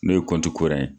N'o ye kura ye